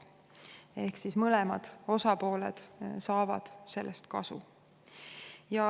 Ehk siis mõlemad osapooled saavad sellest kasu.